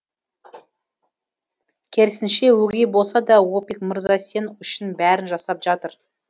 керісінше өгей болса да опик мырза сен үшін бәрін жасап жатыр